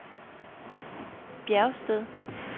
Bjergsted